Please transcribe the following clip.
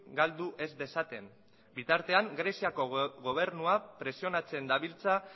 galduez dezaten bitartean greziako gobernuak presionatzen dabiltza